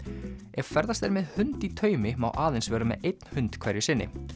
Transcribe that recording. ef ferðast er með hund í taumi má aðeins vera með einn hund hverju sinni